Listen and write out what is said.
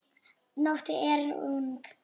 Nóttin er ung